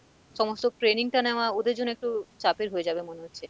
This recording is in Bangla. সমস্ত training টা নেওয়া ওদের জন্য একটু চাপের হয়ে যাবে মনে হচ্ছে।